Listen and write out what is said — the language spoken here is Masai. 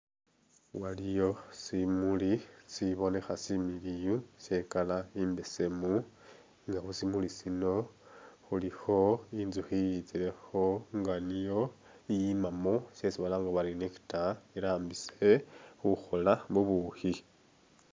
Waliyo simuli sibonekha similiyu she'color i'mbesemu nga khusimuli sino khulikho i'nzukhi i'yitsilekho nga niyo iyimamo shesi balanga bari nectar irambise khukhoola bubukhi